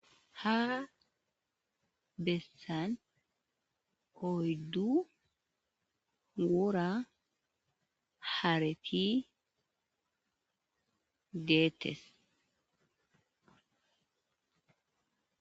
Ha bessan koyddu wora harapi deettes